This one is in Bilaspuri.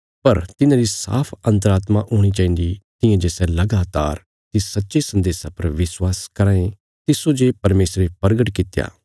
पर तिन्हांरी साफ अन्तरात्मा हूणी चाहिन्दी तियां जे सै लगातार तिस सच्चे सन्देशा पर विश्वास कराँ ये तिस्सो जे परमेशरे परगट कित्या